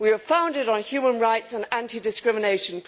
We were founded on human rights and anti discrimination.